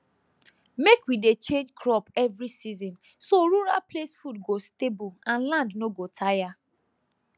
mek we dey change crop every season so rural place food go stable and land no go tire